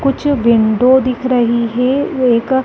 कुछ विंडो दिख रही है जो एक --